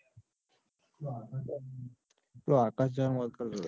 પેલો આકાશ જવાની વાત કરતો તો.